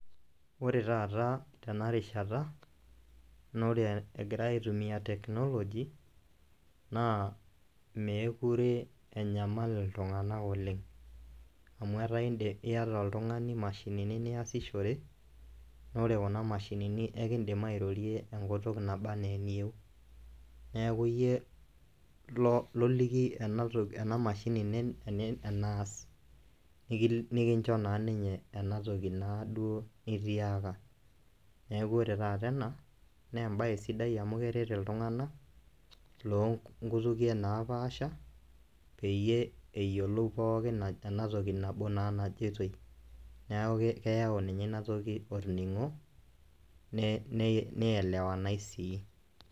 Wore taata tenarishata, naa wore ekirai aitumia technology naa meekure enyamal iltunganak oleng'. Amu etaa iindim iata oltungani imashinini niasishore, naa wore kuna mashinini eekindim airrorie enkutuk naba enaa eniyieu. Neeku iyie loliki ena mashini eneas, nikincho naa ninye enatoki naaduo nitiaka. Neeku wore taata ena, naa embaye sidai amu keret iltunganak, loonkutukie naapaasha, peyie eyiolou pookin naa enatoki nabo naa najitoi, neeku keyau ninye inatoki olningo nielewanai sii.